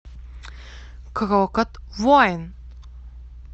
крокот воин